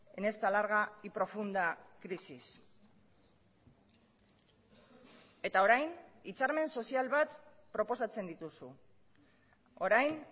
en esta larga y profunda crisis eta orain hitzarmen sozial bat proposatzen dituzu orain